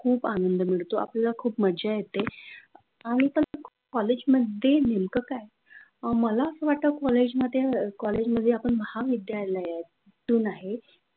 खूप आनंद येत मिळतो आपल्याला खूप मज्जा येते. आणि कॉलेज मध्ये नेमकं काय? मला असं वाटतं कॉलेजमध्ये अ महाविद्यालयात ते आहेत.